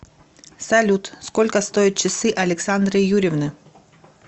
салют сколько стоят часы александры юрьевны